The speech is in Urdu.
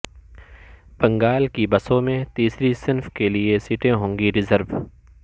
بنگال کی بسوں میں تیسری صنف کے لیے سیٹیں ہوں گی ریزرو